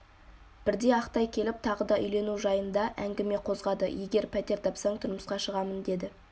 бірде ақтай келіп тағы да үйлену жайында әңгіме қозғады егер пәтер тапсаң тұрмысқа шығамын дедім